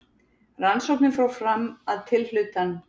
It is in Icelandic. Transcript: Rannsóknin fór fram að tilhlutan